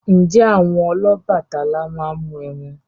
Ǹjẹ́ àwọn Ọlọ́bàtálá máa ń mu ẹmu?